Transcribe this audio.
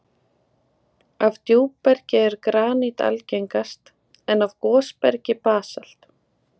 Af djúpbergi er granít algengast, en af gosbergi basalt.